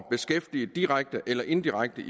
beskæftiget direkte eller indirekte